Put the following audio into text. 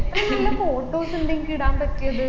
എത്ര നല്ല photos ഉണ്ട് ഇൻക്ക് ഇടാൻ പറ്റിയത്